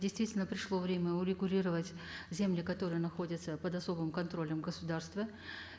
действительно пришло время урегулировать земли которые находятся под особым контролем государства